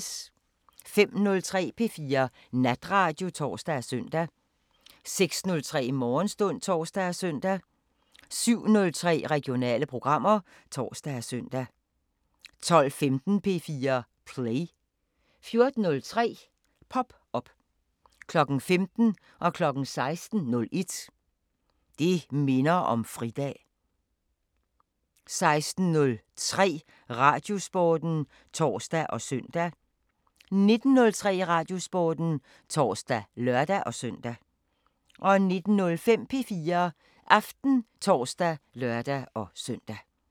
05:03: P4 Natradio (tor og søn) 06:03: Morgenstund (tor og søn) 07:03: Regionale programmer (tor og søn) 12:15: P4 Play 14:03: Pop Op 15:00: Det minder om fridag 16:01: Det minder om fridag 16:03: Radiosporten (tor og søn) 19:03: Radiosporten (tor og lør-søn) 19:05: P4 Aften (tor og lør-søn)